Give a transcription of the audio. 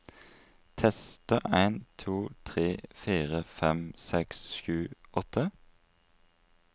Tester en to tre fire fem seks sju åtte